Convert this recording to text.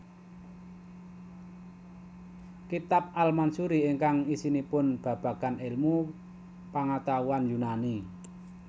Kitab al Mansuri ingkang isinipun babagan ilmu pangatahuan Yunani